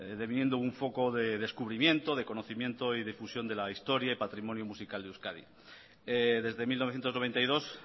deviniendo un foco de descubrimiento de conocimiento y de fusión de la historia y patrimonio musical de euskadi desde mil novecientos noventa y dos